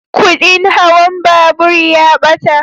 Kudin hawan babur ya ɓata